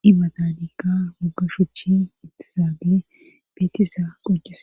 dibatanika guggashuchi ittisaadie beetiza qoccises